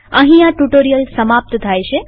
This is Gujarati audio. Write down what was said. અહીં આ ટ્યુ્ટોરીઅલ સમાપ્ત થાય છે